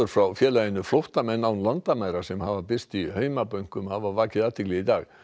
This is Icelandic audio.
frá félaginu flóttamenn án landamæra sem birst hafa í heimabönkum hafa vakið athygli í dag